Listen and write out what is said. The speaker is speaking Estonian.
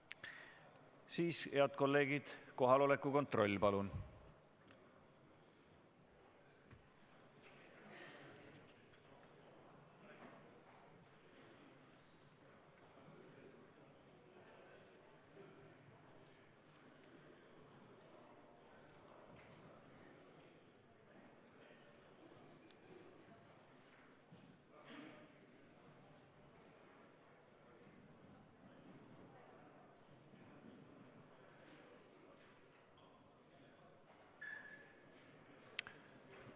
Siis, head kolleegid, kohaloleku kontroll, palun!